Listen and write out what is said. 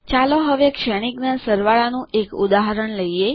ચાલો હવે શ્રેણીકના સરવાળા નું એક ઉદાહરણ લખીએ